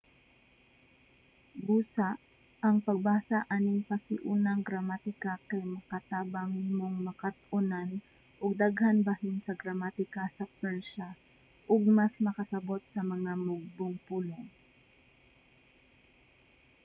busa ang pagbasa aning pasiunang gramatika kay makatabang nimong makat-onan og daghan bahin sa gramatika sa persia ug mas makasabot sa mga mugbong pulong